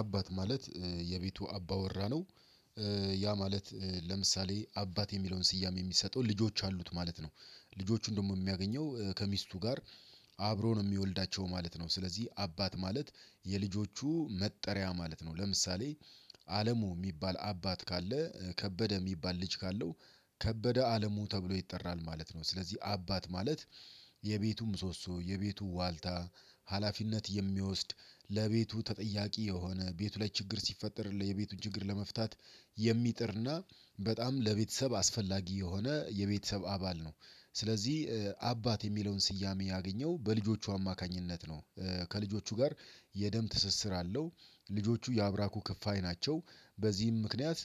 አባት ማለት የቤቱ አባ ወራ ነው። ያ ማለት ለምሳሌ አባት የሚለውን ስያሜ የሚሰጠው ልጆች አሉት ማለት ነው። ልጆቹን ደግሞ የሚያገኘው ከሚስቱ ጋር አብሮ ነው የሚወልዳቸው ማለት ነው። ስለዚህ አባት ማለት የልጆቹ መጠሪያ ማለት ነው። ለምሳሌ አለሙ የሚባል አባት ካለ ከበደ የሚባል ልጅ ካለው ከበደ አለሙ ተብሎ ይጠራል ማለት ነው። ስለዚህ አባት ማለት የቤቱ ምሶሶ የቤቱ ዋልታ ሀላፊነት የሚወስድ ለቤቱ ተጠያቂ የሆነ ቤቱ ላይ ችግር ሲፈጠር የቤቱን ችግር ለመፍታት የሚጥርና በጣም ለቤተሰብ አስፈላጊ የሆነ የቤተሰብ አባል ነው። ስለዚህ አባት የሚለውን ስያሜ ያገኘው በልጆቹ አማካኝነት ነው። ከልጆቹ ጋር የደም ትስስር አለው ልጆቹ ያብራኩ ክፍያ ናቸው በዚህም ምክንያት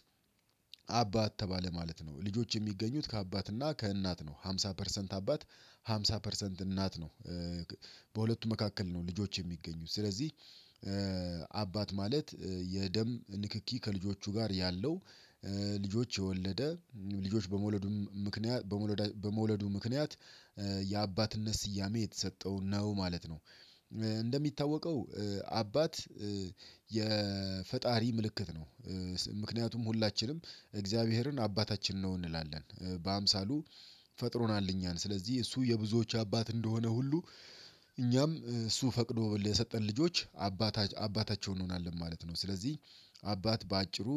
አባት ተባለ ማለት ነው። ልጆች የሚገኙት ከአባትና ከእናት ነው ሃምሳ ፐርሰንት አባት ሃምሳ ፐርሰንት እናት ነው። በሁለቱ መካከል ነው ልጆች የሚገኙት ስለዚህ። አባት ማለት የደም ንክኪ ከልጆቹ ጋር ያለው ልጆች የወለደ ልጆች በመውለዱም ምክንያት በመውለዱ ምክንያት የአባትነት ስያሜ የተሰጠው ነው ማለት ነው። እንደሚታወቀው አባት የፈጣሪ ምልክት ነው። ምክንያቱም ሁላችንም እግዚአብሔርን አባታችን ነው እንላለን በአምሳሉ ፈጥሮናል እኛን ስለዚህ እሱ የብዙዎች አባት እንደሆነ ሁሉ እኛም እሱ ፈቅዶ ለሰጠን ልጆች አባታቸው እንሆናለን ማለት ነው። ስለዚህ አባት በአጭሩ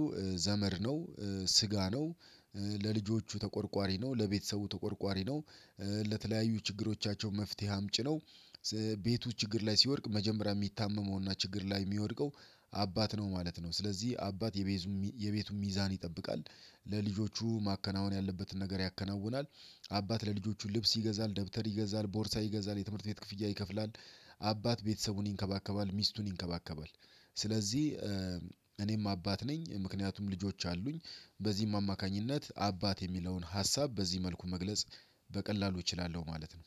ዘመድ ነው ስጋ ነው ለልጆቹ ተቆርቋሪ ነው ለቤተሰቡ ተቆርቋሪ ነው። ለተለያዩ ችግሮቻቸው መፍትሄ አምጭ ነው። ቤቱ ችግር ላይ ሲወድቅ መጀመሪያ የሚታመመውና ችግር ላይ የሚወድቀው አባት ነው ማለት ነው። ስለዚህ አባት የቤዙ የቤቱን ሚዛን ይጠብቃል ለልጆቹ ማከናወን ያለበትን ነገር ያከናውናል። አባት ለልጆቹ ልብስ ይገዛል ደብተር ይገዛል ቦርሳ ይገዛል የትምህርት ቤት ክፍያ ይከፍላል። አባት ቤተሰቡን ይንከባከባል ሚስቱን ይንከባከባል። ስለዚህ እኔም አባት ነኝ ምክንያቱም ልጆች አሉኝ። በዚህም አማካኝነት አባት የሚለውን ሀሳብ በዚህ መልኩ መግለጽ በቀላሉ እችላለሁ ማለት ነው።